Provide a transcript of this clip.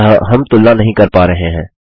अतः हम तुलना नहीं कर पा रहे हैं